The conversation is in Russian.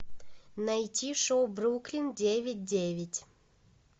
найти шоу бруклин девять девять